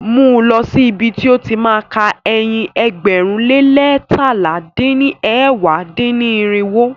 Mú lọ̀ sí ibi ti ó ti má a ka ẹyin ẹgbẹ̀rún lé leétalá dín ní ẹ̀wá dín-ní-irinwó.